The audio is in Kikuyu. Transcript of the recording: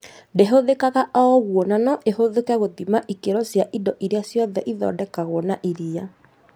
Ndĩthũkaga o ũguo na no ĩhũthĩke gũthima ikĩro cia indo irĩa ciothe ithondekagwo na iria